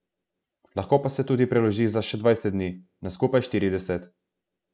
Lahko pa se tudi preloži za še dvajset dni, na skupaj štirideset.